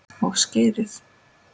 Og skyrið!